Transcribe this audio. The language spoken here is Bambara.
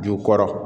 Ju kɔrɔ